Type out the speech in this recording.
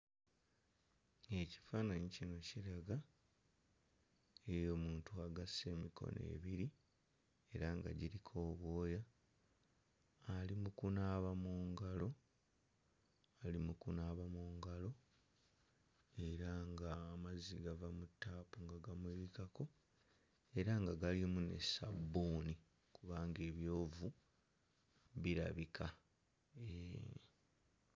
Ekifaananyi kino kiraga ey'omuntu agasse emikono ebiri era nga giriko obwoya ali mu kunaaba mu ngalo ali mu kubaaba mu ngalo era nga amazzi gava mu ttaapu ne gamuyiikako era nga galimu ne ssabbuuni kubanga ebyovu birabika mm.